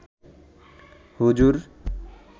হুজুর